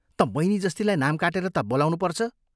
तँ बैनी जस्तीलाई नाम काटेर ता बोलाउनुपर्छ।